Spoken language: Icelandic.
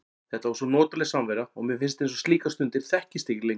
Þetta var svo notaleg samvera og mér finnst eins og slíkar stundir þekkist ekki lengur.